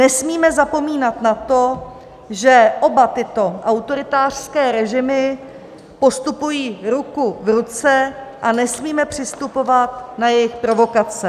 Nesmíme zapomínat na to, že oba tyto autoritářské režimy postupují ruku v ruce, a nesmíme přistupovat na jejich provokace.